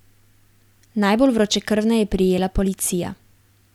Najbolj vročekrvne je prijela policija.